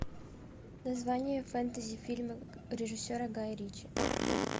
название фэнтези фильма режиссера гая ричи